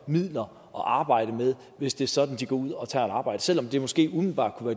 midler at arbejde med hvis det er sådan at de går ud og tager et arbejde selv om det måske umiddelbart kunne